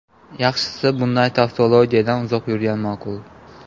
Yaxshisi, bunday tavtologiyadan uzoq yurgan ma’qul.